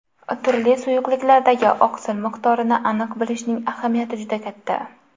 Turli suyuqliklardagi oqsil miqdorini aniq bilishning ahamiyati juda katta.